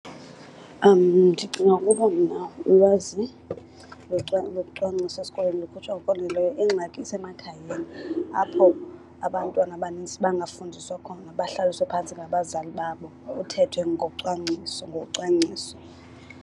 Ndicinga ukuba mna ulwazi lokucwangcisa esikolweni lukhutshwa ngokwaneleyo. Ingxaki isemakhayeni apho abantwana abanintsi bangafundiswa khona bahlaliswe phantsi ngabazali babo kuthethwe ngocwangciso, ngocwangciso.